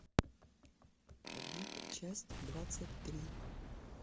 побег часть двадцать три